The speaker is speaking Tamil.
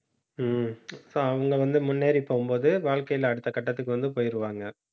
உம் so அவங்க வந்து முன்னேறிப் போகும்போது, வாழ்க்கையில அடுத்த கட்டத்துக்கு வந்து போயிருவாங்க